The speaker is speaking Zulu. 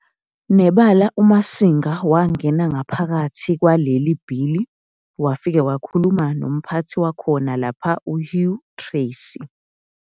Nebala uMasinga wangena ngaphakithi kwaleli bhilii wafike wakhuluma nomphathi wakhona lapha uHugh Tracy.